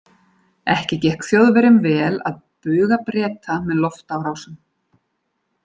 Ekki gekk Þjóðverjum vel að buga Breta með loftárásum.